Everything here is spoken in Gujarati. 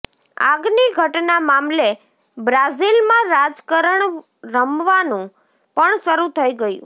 આગની ઘટના મામલે બ્રાઝિલમાં રાજકારણ રમાવાનું પણ શરૂ થઇ ગયું